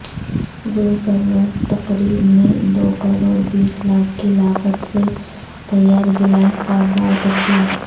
روح پرور تقریب میں دو کروڑ بیس لاکھ کی لاگت سے تیارغلاف کعبہ تبدیل